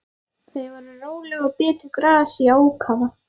Þau voru róleg og bitu gras í ákafa.